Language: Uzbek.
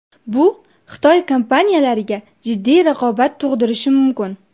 Bu Xitoy kompaniyalariga jiddiy raqobat tug‘dirishi mumkin.